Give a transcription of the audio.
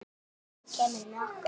Nú kemurðu með okkur